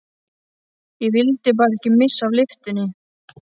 Ég vildi bara ekki missa af lyftunni!